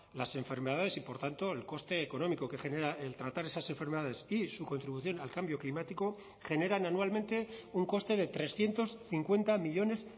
las enfermedades y por tanto el coste económico que genera el tratar esas enfermedades y su contribución al cambio climático generan anualmente un coste de trescientos cincuenta millónes